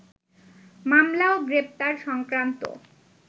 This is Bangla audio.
মামলা ও গ্রেপ্তার সংক্রান্ত